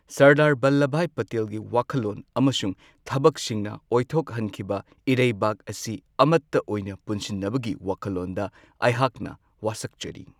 ꯁꯔꯗꯥꯔ ꯕꯜꯂꯕꯚꯥꯏ ꯄꯇꯦꯜꯒꯤ ꯋꯥꯈꯜꯂꯣꯟ ꯑꯃꯁꯨꯡ ꯊꯕꯛꯁꯤꯡꯅ ꯑꯣꯏꯊꯣꯛꯍꯟꯈꯤꯕ ꯏꯔꯩꯕꯥꯛ ꯑꯁꯤ ꯑꯃꯠꯇ ꯑꯣꯏꯅ ꯄꯨꯟꯁꯤꯟꯅꯕꯒꯤ ꯋꯥꯈꯜꯂꯣꯟꯗ ꯑꯩꯍꯥꯛꯅ ꯋꯥꯁꯛꯆꯔꯤ꯫